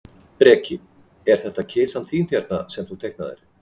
Breki: Er þetta kisan þín hérna, sem þú teiknaðir?